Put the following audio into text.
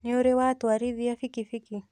Nĩũrĩ watwarithia bikibiki?